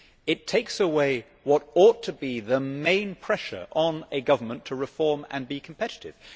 It takes away what ought to be the main pressure on a government to reform and be competitive.